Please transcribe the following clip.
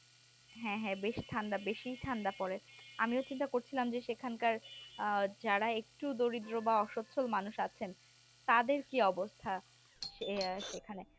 হ্যাঁ হ্যাঁ বেশ বেশি ঠান্ডা পড়ে আমি চিন্তা করছিলাম যে সেখানকার যারা একটু দরিদ্র বা অসুস্থ মানুষ আছেন তাদের কি অবস্থা সেইখানে